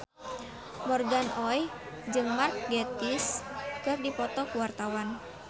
Morgan Oey jeung Mark Gatiss keur dipoto ku wartawan